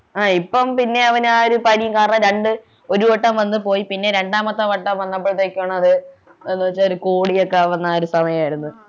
ആഹ് ഇപ്പോൾ പിന്നെ അവനു ആഹ് പനി കാരണം രണ്ടു ഒരു വട്ടം വന്നു പോയി പിന്നെ രണ്ടാമത്തെ വട്ടം വന്നപ്പോഴത്തേക്കുമാണ് അത് എന്നുവച്ചാ കോടിക്കൊക്കെ ആവുന്ന സമയായിരുന്നു